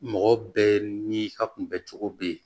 Mɔgɔ bɛɛ n'i ka kunbɛ cogo be ye